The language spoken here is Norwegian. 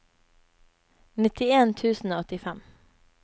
nittien tusen og åttifem